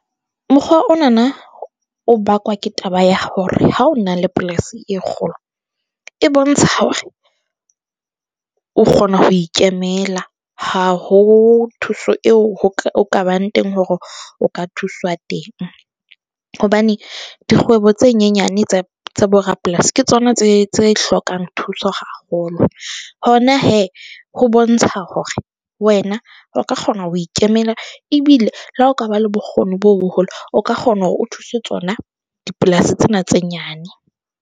Mokgwa onana o bakwa ke taba ya hore ha o na le polasi e kgolo, e bontsha hore o kgona ho ikemela ha ho thuso eo ho ka, ho ka bang teng hore o ka thuswa teng. Hobane dikgwebo tse nyenyane tse tsa bo rapolasi ke tsona tse tse hlokang thuso haholo. Hona hee, ho bontsha hore wena o ka kgona ho ikemela ebile le ha o ka ba le bokgoni bo boholo, o ka kgona hore o thuse tsona dipolasi tsena tse nyane.